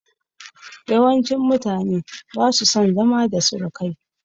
Yawancin mutane ba su son zama da surukai